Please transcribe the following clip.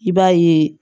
I b'a ye